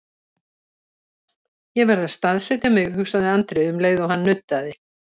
Ég verð að staðsetja mig, hugsaði Andri um leið og hann nuddaði.